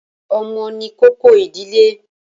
Ọmọ ni kókó ìdílé.